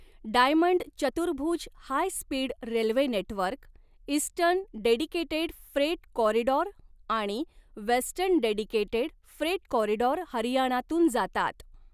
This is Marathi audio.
डायमंड चतुर्भुज high speed railway network, eastern dedicated freight corridor आणि वेस्टर्न डेडिकेटेड फ्रेट कॉरिडॉर हरियाणातून जातात.